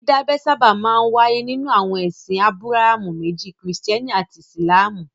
Dídábẹ sábà máa ń wáyé nínú àwọn ẹsìn Ábúráhámù méjì; Kìrìtẹ́ẹ́nì àti Ìsìlámù.